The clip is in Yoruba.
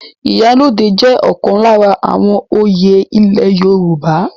Ìyálóde jẹ́ ọ̀kan lára àwọn oyè ile Yorùbá.